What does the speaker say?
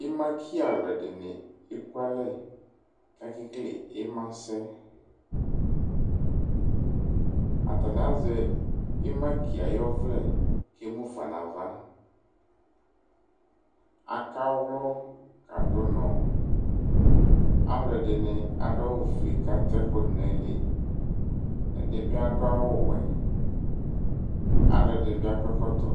Ɩmaki alʋɛdɩnɩ ekualɛ kʋ akekele ɩmasɛ Atanɩ azɛ ɩmaki yɛ ayʋ ɔvlɛ kʋ emu fa nʋ ava Akawlɔ kadʋ ʋnɔ Alʋɛdɩnɩ adʋ awʋfue kʋ ata ɛkʋ dʋ nʋ ayili Ɛdɩ bɩ adʋ awʋwɛ Alʋɛdɩnɩ bɩ akɔ ɛkɔtɔ